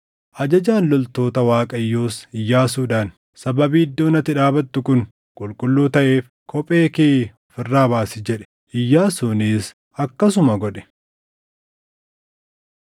Ajajaan loltoota Waaqayyoos Iyyaasuudhaan, “Sababii iddoon ati dhaabattu kun qulqulluu taʼeef kophee kee of irraa baasi” jedhe. Iyyaasuunis akkasuma godhe.